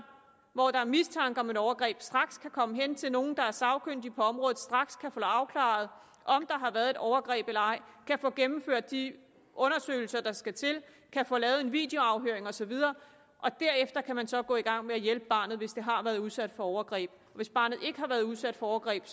hvor der er mistanke om et overgreb straks kan komme hen til nogle der er sagkyndige på området straks kan få afklaret om der har været et overgreb eller ej kan få gennemført de undersøgelser der skal til kan få lavet en videoafhøring og så videre derefter kan man så gå i gang med at hjælpe barnet hvis det har været udsat for overgreb hvis barnet ikke har været udsat for overgreb